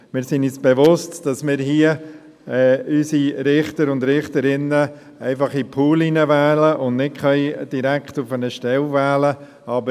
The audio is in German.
Wir sind uns bewusst, dass wir unsere Richter und Richterinnen hier einfach in den Pool hineinwählen und dass wir sie nicht direkt auf eine Stelle wählen können.